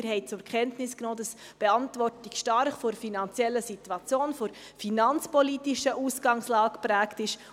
Sie haben zur Kenntnis genommen, dass die Beantwortung stark von der finanziellen Situation, von der finanzpolitischen Ausgangslage, geprägt ist.